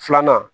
Filanan